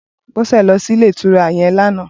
Bose lò si ilé itúrá yèn làná